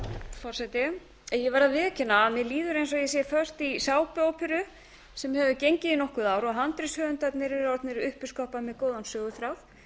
forseti ég verð að viðurkenna að mér líður eins og ég sé föst í sápuóperu sem hefur gengið í nokkur ár og handritshöfundarnir eru orðnir uppiskroppa með góðan söguþráð